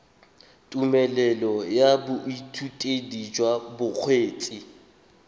tumelelo ya boithutedi jwa bokgweetsi